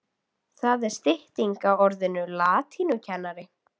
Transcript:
Það er stytting á orðinu latínukennari.